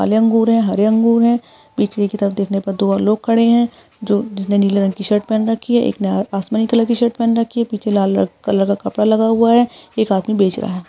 काले अंगूर है हरे अंगूर है पीछे की तरफ देखने पर दो और लोग खड़े है जो जिसने नीले रंग की शर्ट पहन रखी है एक ने अ-आसमानी कलर की शर्ट पहैन रखी है पीछे लाल अ कलर का कपड़ा लगा हुआ है एक आदमी बेच रहा है।